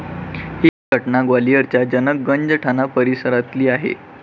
ही घटना ग्वालियरच्या जनक गंज ठाणा परिसरातली आहे.